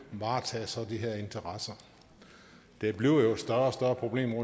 varetager så de her interesser det bliver jo et større og større problem